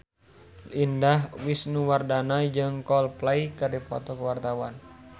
Indah Wisnuwardana jeung Coldplay keur dipoto ku wartawan